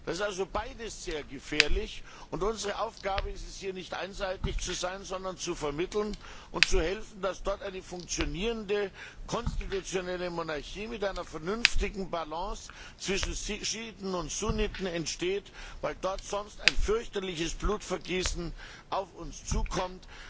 Das ist also beides sehr gefährlich, und unsere Aufgabe ist es, hier nicht einseitig zu sein, sondern zu vermitteln und zu helfen, dass dort eine funktionierende konstitutionelle Monarchie mit einer vernünftigen Balance zwischen Schiiten und Sunniten entsteht, weil dort sonst ein fürchterliches Blutvergießen auf uns zukommt.